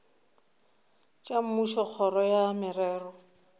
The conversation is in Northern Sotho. tša mmušo kgoro ya merero